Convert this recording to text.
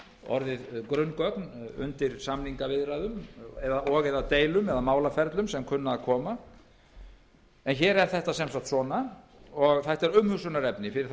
orðið grunngögn undir samningaviðræðum og eða í deilum eða málaferlum sem kunna að koma upp en svona er þetta það er umhugsunarefni við þær